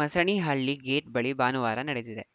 Masanihalli gate ಬಳಿ ಭಾನುವಾರ ನಡೆದಿದೆ